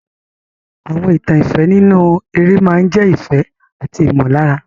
Àwọn ìtàn ìfẹ́ nínú eré máa ń jẹ́ ìfẹ́ àti ìmọ̀lára.